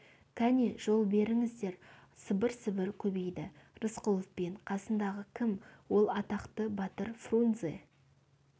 кәне жол беріңіздер сыбыр-сыбыр көбейді рысқұлов кәне қасындағы кім ол атақты батыр фрунзе